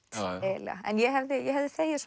eiginlega ég hefði þegið